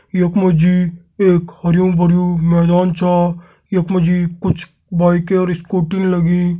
यक मजी एक हरियुं भरियुं मैदान छा। यक मजी कुछ बाइकें और इस्कूटी लगीं।